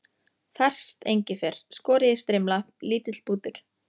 Ferskt engifer, skorið í strimla, lítill bútur